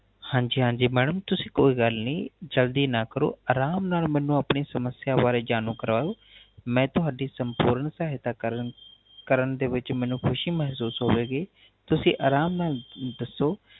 ਹਾਂਜੀ ਹਾਂਜੀ Madam ਤੁਸੀਂ ਕੋਈ ਗਲ ਨੀ ਜਲਦੀ ਨਾ ਕਰੋ ਆਰਾਮ ਨਾਲ ਮੈਨੂ ਆਪਣੀ ਸਮਸਿਆ ਬਾਰੇ ਜਾਨੂ ਕਰਵਾਉ ਮੈ ਤੁਹਾਡੀ ਸੰਪੂਰਨ ਸਹਾਇਤਾ ਕਰਨ ਕਰਨ ਦੇ ਵਿੱਚ ਮੈਨੂ ਖੁਸ਼ੀ ਮੇਹਸੂਸ ਹੋਵੇਗੀ ਤੁਸੀਂ ਆਰਾਮ ਨਾਲ ਦੱਸੋ